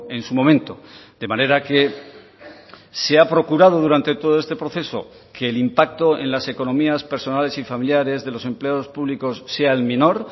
en su momento de manera que se ha procurado durante todo este proceso que el impacto en las economías personales y familiares de los empleados públicos sea el menor